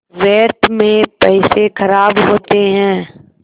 व्यर्थ में पैसे ख़राब होते हैं